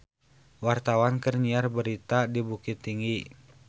Wartawan keur nyiar berita di Bukittinggi